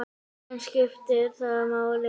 En skiptir það máli?